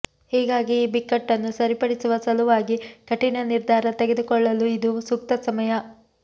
ಹೀಗಾಗಿ ಈ ಬಿಕ್ಕಟ್ಟನ್ನು ಸರಿಪಡಿಸುವ ಸಲುವಾಗಿ ಕಠಿಣ ನಿರ್ಧಾರ ತೆಗೆದುಕೊಳ್ಳಲು ಇದು ಸೂಕ್ತ ಸಮಯ